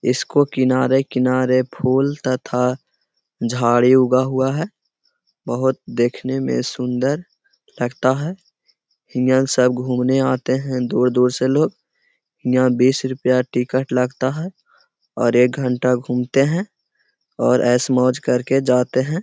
इसको किनारे-किनारे फूल तथा झाड़ी उगा हुआ है बहुत देखने में सुंदर लगता है। ईहाँ सब घुमने आते हैं दूर-दूर से लोग। यहाँ बीस रुपया टिकट लगता है और एक घंटा घूमते हैं और ऐश मोज करके जाते हैं।